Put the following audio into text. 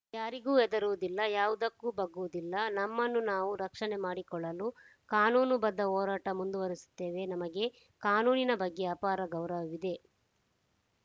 ಯಾರಿಗೂ ಹೆದರುವುದಿಲ್ಲ ಯಾವುದಕ್ಕೂ ಬಗ್ಗುವುದಿಲ್ಲ ನಮ್ಮನ್ನು ನಾವು ರಕ್ಷಣೆ ಮಾಡಿಕೊಳ್ಳಲು ಕಾನೂನು ಬದ್ಧ ಹೋರಾಟ ಮುಂದುವರೆಸುತ್ತೇವೆ ನಮಗೆ ಕಾನೂನಿನ ಬಗ್ಗೆ ಅಪಾರ ಗೌರವವಿದೆ